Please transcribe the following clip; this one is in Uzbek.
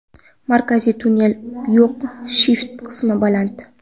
Markaziy tunnel yo‘q, shift qismi baland.